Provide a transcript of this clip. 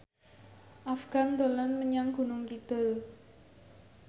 Afgan dolan menyang Gunung Kidul